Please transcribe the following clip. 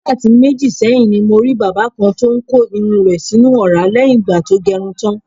Wákàtí méjì sé̩yìn ni mo rí bàbá kan tó ń ko irun rè̩ sínú ò̩rá lé̩yìn ìgbà tó ge̩run tán.